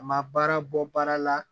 A ma baara bɔ baara la